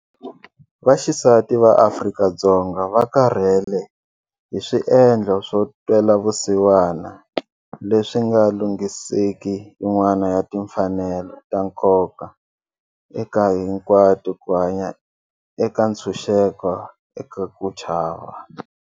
Vaxisati va Afrika-Dzonga va karhele hi swiendlo swo twela vusiwana leswi nga lunghiseki yin'wana ya timfanelo ta nkoka eka hinkwato ku hanya eka ntshuxeko eka ku chava.